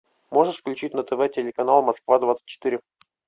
можешь включить на тв телеканал москва двадцать четыре